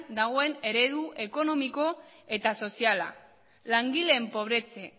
dagoen eredu ekonomiko eta soziala langileen pobretze